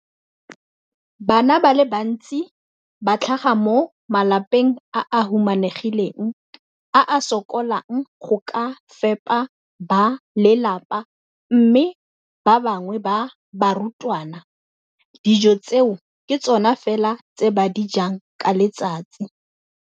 Bana ba le bantsi ba tlhaga mo malapeng a a humanegileng a a sokolang go ka fepa ba lelapa mme ba bangwe ba barutwana, dijo tseo ke tsona fela tse ba di jang ka letsatsi.